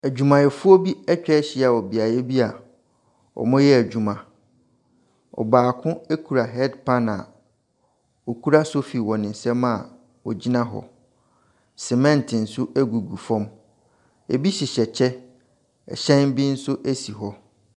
Adwumayɛfoɔ bi atwa ahyia wɔ beaeɛ bi a wɔyɛ adwuma. Ɔbaako kura head pan a okura sofi wɔ ne nsam a ogyina hɔ. Cement nso gugu fam. Ebi hyehyɛ kyɛ. Ɛhyɛn bi nso si hɔ.